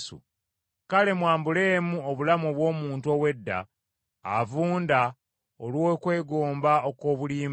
kale mwambulemu obulamu obw’omuntu ow’edda, avunda olw’okwegomba okw’obulimba.